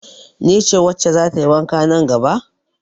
Ni ce wacce za ta yi wanka nan gaba?